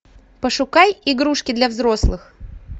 пошукай игрушки для взрослых